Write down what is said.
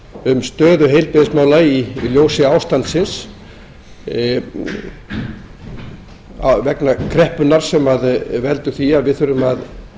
um stöðu heilbrigðismála í ljósi ástandsins vegna kreppunnar sem veldur því að við þurfum að